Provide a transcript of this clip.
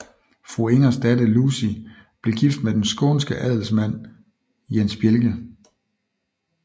Fru Ingers datter Lucie blev gift med den skånske adelsmand Jens Bjelke